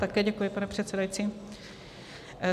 Také děkuji, pane předsedající.